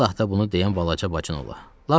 İllah da bunu deyən balaca bacın ola.